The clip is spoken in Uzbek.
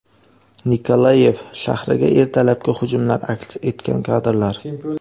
Nikolaev shahriga ertalabki hujumlar aks etgan kadrlar.